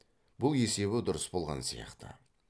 бұл есебі дұрыс болған сияқты